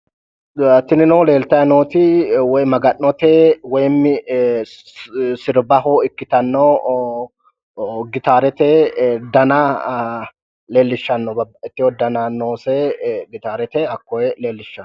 Tinino leeltayi nooti woy maga'note woyi sirbbahi ikkitanno gitaarete dana leellishshanno baqa ikkewo dana noose gitaarete hakkoye leellishshawo.